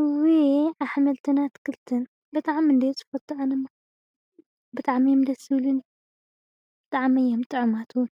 እውይ ኣሕልምቲ ኣትክልትን ብጣዕሚ እንድየ ዝፈቱ ኣነ፣ ብጣዕሚ ደስ ዝብሉኒ፣ ብጣዕሚ እዮም ጥዑማትእውን